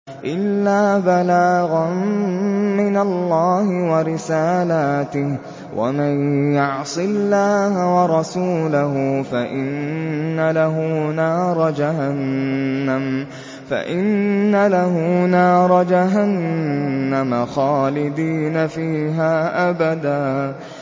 إِلَّا بَلَاغًا مِّنَ اللَّهِ وَرِسَالَاتِهِ ۚ وَمَن يَعْصِ اللَّهَ وَرَسُولَهُ فَإِنَّ لَهُ نَارَ جَهَنَّمَ خَالِدِينَ فِيهَا أَبَدًا